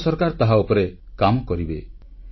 ଭାରତ ସରକାର ତାହା ଉପରେ କାମ କରିବେ